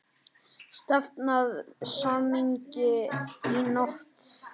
Stefnt að samningi í nótt